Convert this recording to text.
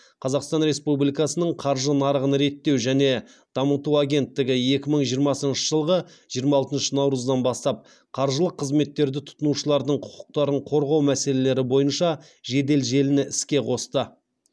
қазақстан республикасының қаржы нарығын реттеу және дамыту агенттігі екі мың жиырмасыншы жылғы жиырма алтыншы наурыздан бастап қаржылық қызметтерді тұтынушылардың құқықтарын қорғау мәселелері бойынша жедел желіні іске қосты